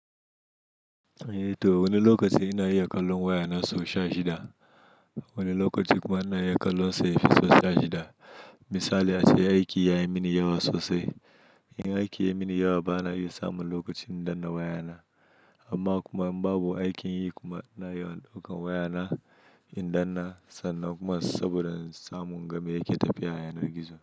Eh to wani lokaci ina iya kallon wayana so sha shida, wani lokaci kuma ina iya kallonsa ya fi so sha shida. Misali ace aiki yayi mini yawa sosai. In aiki yayi mini yawa bana iya samun lokaci in danna wayana. Amma kuma in babu aikin yi kuma ina yawan ɗaukan wayana in danna sannan kuma saboda samun game yake tafiya yana gizo.